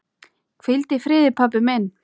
Hvíldu í friði, pabbi minn.